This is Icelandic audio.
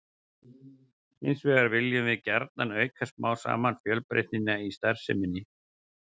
Hins vegar viljum við gjarnan auka smám saman fjölbreytnina í starfseminni.